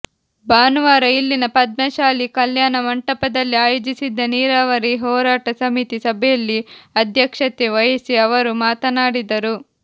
ಭಾನುವಾರ ಇಲ್ಲಿನ ಪದ್ಮಶಾಲಿ ಕಲ್ಯಾಣ ಮಂಟಪದಲ್ಲಿ ಆಯೋಜಿಸಿದ್ದ ನೀರಾವರಿ ಹೋರಾಟ ಸಮಿತಿ ಸಭೆಯಲ್ಲಿ ಅಧ್ಯಕ್ಷತೆ ವಹಿಸಿ ಅವರು ಮಾತನಾಡಿದರು